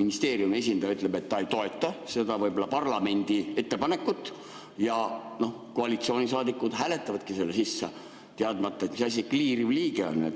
ministeeriumi esindaja ütleb, et ta ei toeta võib-olla seda parlamendi ettepanekut, siis koalitsioonisaadikud hääletavadki selle sisse, teadmata, mis asi see kliiriv liige on.